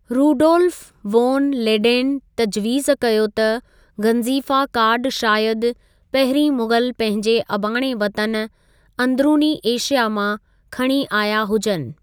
Rudolf von Leyden तजवीज़ कयो त गंज़ीफ़ा कार्डु शायदि पहिरीं मुग़ल पंहिंजे अबाणे वतन अंदिरूनी एशिया मां खणी आया हुजनि।